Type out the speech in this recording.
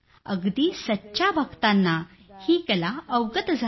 अगदी सच्च्या भक्तांना ही कला अवगत झाली